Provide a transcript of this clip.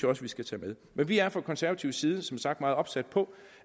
også vi skal tage med men vi er fra konservativ side som sagt meget opsatte på